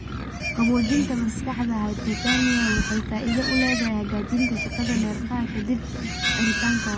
Qaboojinta maskaxda (hypothermia) waxay faa'iido u leedahay hagaajinta shaqada neerfaha ka dib xiritaanka wadnaha.